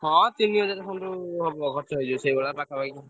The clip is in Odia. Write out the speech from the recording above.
ହଁ ତିନିହଜାର ଖଣ୍ଡେ ହବ ଖର୍ଚ ହେଇଯିବ ସେଇଭଳିଆ ପାଖାପାଖି।